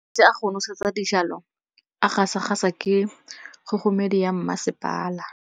Metsi a go nosetsa dijalo a gasa gasa ke kgogomedi ya masepala.